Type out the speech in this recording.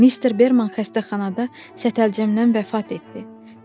Mister Berman xəstəxanada sətəlcəmdən vəfat etdi.